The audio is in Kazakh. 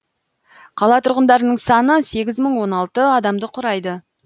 қала тұрғындарының саны сегіз мың он алты адамды құрайды